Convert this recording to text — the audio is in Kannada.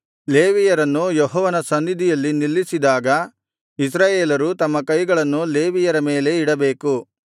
ಲೇವಿಯರನ್ನು ಯೆಹೋವನ ಸನ್ನಿಧಿಯಲ್ಲಿ ನಿಲ್ಲಿಸಿದಾಗ ಇಸ್ರಾಯೇಲರು ತಮ್ಮ ಕೈಗಳನ್ನು ಲೇವಿಯರ ಮೇಲೆ ಇಡಬೇಕು